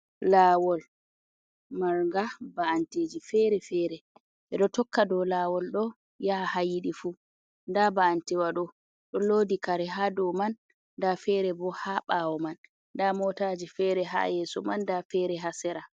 Lawol marnga ba’anteji ,fere fere edo tokka do lawol do yaha ha yidi fu ,da ba’antewa do do lodi kare ha do man da fere bo ha bawo man da motaji fere ha yeso man da fere hasera.